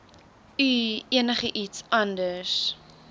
u enigiets anders